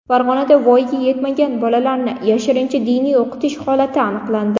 Farg‘onada voyaga yetmagan bolalarni yashirincha diniy o‘qitish holati aniqlandi.